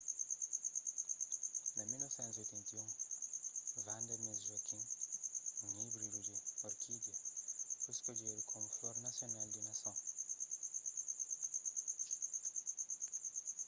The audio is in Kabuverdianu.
na 1981 vanda miss joaquim un íbridu di orkídia foi skodjedu komu flor nasional di nason